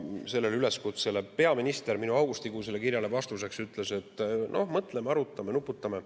Sellele üleskutsele, minu augustikuu kirjale vastuseks ütles peaminister, et mõtleme, arutame, nuputame.